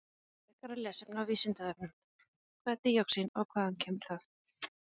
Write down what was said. Frekara lesefni á Vísindavefnum: Hvað er díoxín og hvaðan kemur það?